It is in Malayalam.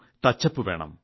ടച്ച്അപ്പ് വേണം